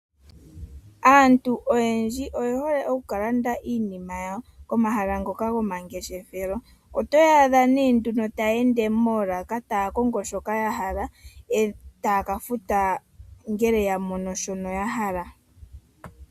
Aantu oyendji oye hole okukalanda iinima yawo komahala ngoka gomangeshefelo. Otoya adha nee ta yeende moolaka taya kongo shoka ya hala, e taa ka futa ngele ya mono shoka ya hala.